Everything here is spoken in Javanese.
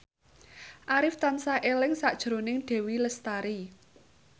Arif tansah eling sakjroning Dewi Lestari